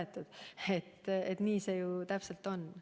Täpselt nii see ju on.